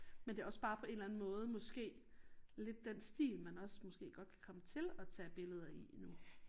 Men det også bare på en eller anden måde måske lidt den stil man også måske godt kan komme til at tage billeder i nu